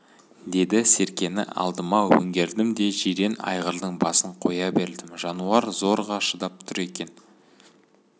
деді серкені алдыма өңгердім де жирен айғырдың басын қоя бердім жануар зорға шыдап тұр екен